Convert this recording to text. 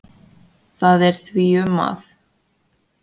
Það er því um að